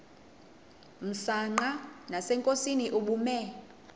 msanqa nasenkosini ubume